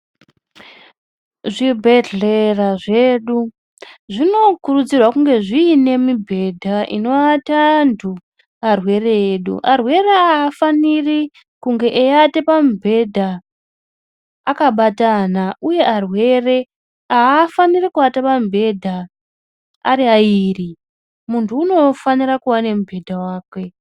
Zvibhedhlera zvedu zvinokurudzirwa zvinge zviine ibhedha inoata antu arwere edu. Arwere afaniri kunge eiata pamubhedha akabatana, uye arwere haafaniri kuvata pamubhedha ari airi muntu unofanira kuva nemubhedha vake.